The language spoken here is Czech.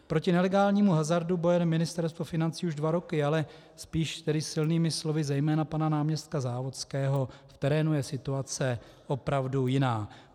Proti nelegálnímu hazardu bojuje Ministerstvo financí už dva roky, ale spíš tedy silnými slovy zejména pana náměstka Závodského, v terénu je situace opravdu jiná.